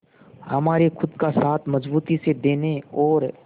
हमारे खुद का साथ मजबूती से देने और